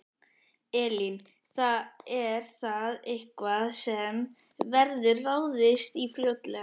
Elín: Er það eitthvað sem verður ráðist í fljótlega?